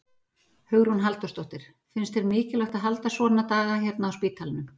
Hugrún Halldórsdóttir: Finnst þér mikilvægt að halda svona daga hérna á spítalanum?